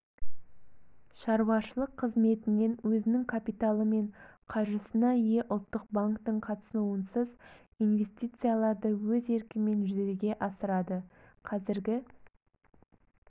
шаруашылық қызметінен өзінің капиталы мен қаржысына ие ұлттық банктің қатысуынсыз инвестицияларды өз еркімен жүзеге асырады қазіргі